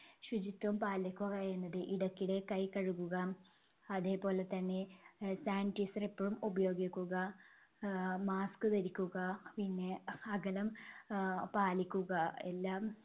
ശുചിത്വം പാലിക്കുക എന്നത്. ഇടക്കിടെ കൈ കഴുകുക, അതേപോലെതന്നെ ആഹ് sanitizer എപ്പഴും ഉപയോഗിക്കുക, ആഹ് mask ധരിക്കുക പിന്നെ അകലം ആഹ് പാലിക്കുക എല്ലാം